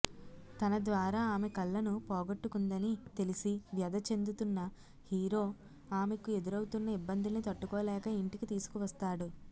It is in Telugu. తన ద్వారా ఆమె కళ్ళను పోగొట్టుకుందని తెలిసి వ్యధ చెందుతున్న హీరో ఆమెకు ఎదురవుతున్న ఇబ్బందుల్ని తట్టుకోలేక ఇంటికి తీసుకువస్తాడు